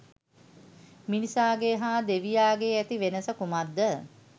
මිනිසාගේ හා දෙවියාගේ ඇති වෙනස කුමක්ද?